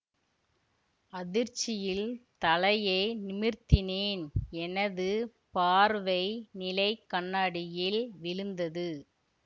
அதிர்ச்சியில் தலையை நிமிர்த்தினேன் எனது பார்வை நிலை கண்ணாடியில் விழுந்தது